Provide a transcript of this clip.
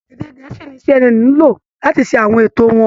Èdè Gẹ̀ẹ́sì ni CNN ń lò láti ṣe àwọn ètò wọn